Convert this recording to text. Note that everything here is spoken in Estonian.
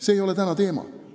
See ei ole täna teema.